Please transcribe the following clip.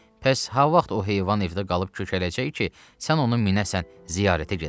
Bəs ha vaxt o heyvan evdə qalıb kökələcək ki, sən ona minəsən, ziyarətə gedəsən?